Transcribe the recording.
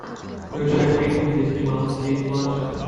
включай фильмы где снималась кейт бланшет